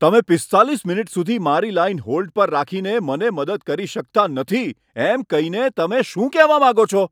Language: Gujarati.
તમે પીસ્તાલીસ મિનિટ સુધી મારી લાઈન હોલ્ડ પર રાખીને મને મદદ કરી શકતા નથી એમ કહીને તમે શું કહેવા માંગો છો?